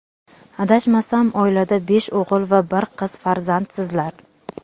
Adashmasam, oilada besh o‘g‘il va bir qiz farzandsizlar?..